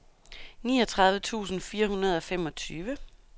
niogtredive tusind fire hundrede og femogtyve